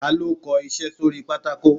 Ta lọ kọ iṣẹ sorí pàtàkó?